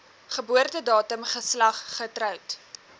geboortedatum geslag getroud